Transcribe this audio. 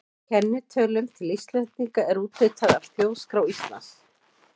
Kennitölum til einstaklinga er úthlutað af Þjóðskrá Íslands.